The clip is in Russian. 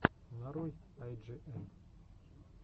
нарой ай джи эм